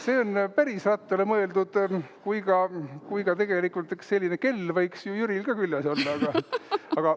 See on päris rattale mõeldud, kuigi tegelikult üks selline kell võiks ju Jüril ka küljes olla.